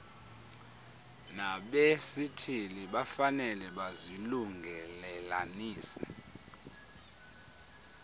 nabesithili bafanele bazilungelelanise